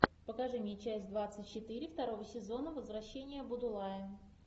покажи мне часть двадцать четыре второго сезона возвращение будулая